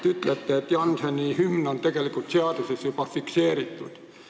Te ütlesite, et Jannseni hümn on juba seaduses fikseeritud.